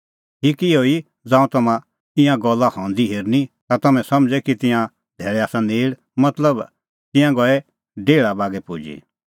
ठीक इहअ ई ज़ांऊं तम्हां ईंयां गल्ला हंदी हेरनी ता तम्हैं समझ़ै कि तिंयां धैल़ै आसा नेल़ मतलब तिंयां गई डेहल़ा बागै पुजी